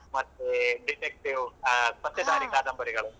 ಮತ್ತೆ detective ಅಹ್ ಪತ್ತೆದಾರಿ ಕಾದಂಬರಿಗಳು.